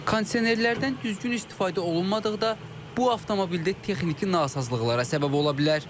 Kondisionerlərdən düzgün istifadə olunmadıqda bu avtomobildə texniki nasazlıqlara səbəb ola bilər.